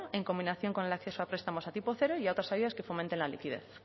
en combinación con el acceso a prestamos a tipo cero y a otras ayudas que fomenten la liquidez